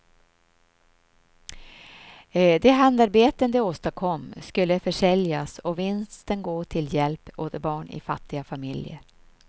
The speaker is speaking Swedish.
De handarbeten de åstadkom skulle försäljas och vinsten gå till hjälp åt barn i fattiga familjer.